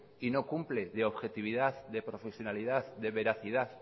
y no cumple de objetividad de profesionalidad de veracidad